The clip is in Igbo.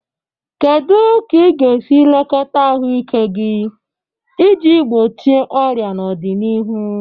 Kedu ka ị ga-esi lekọta ahụike gị iji gbochie ọrịa n'ọdịnihu?